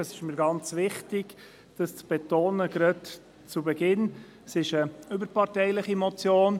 Es ist eine überparteiliche Motion, wie ich gleich zu Beginn betonen möchte – das ist mir wichtig.